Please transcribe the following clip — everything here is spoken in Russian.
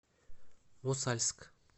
мосальск